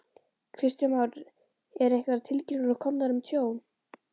Kristján Már: Eru einhverjar tilkynningar komnar um tjón?